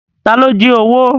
Ta ló jí owó?